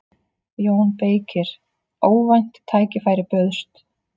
JÓN BEYKIR: Óvænt tækifæri bauðst.